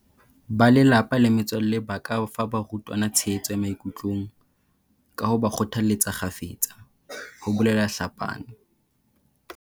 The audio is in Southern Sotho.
Ba lelapa le metswalle ba ka fa barutwana tshehetso ya maikutlong, ka ho ba kgothaletsa kgafetsa, ho bolela Tlhapane.